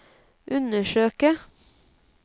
undersøke